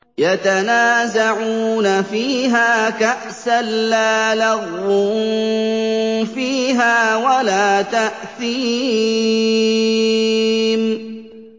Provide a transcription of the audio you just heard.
يَتَنَازَعُونَ فِيهَا كَأْسًا لَّا لَغْوٌ فِيهَا وَلَا تَأْثِيمٌ